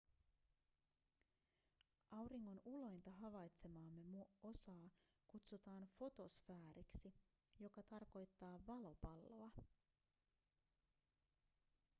auringon ulointa havaitsemaamme osaa kutsutaan fotosfääriksi joka tarkoittaa valopalloa